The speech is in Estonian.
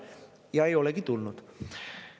Ja ei olegi tulnud.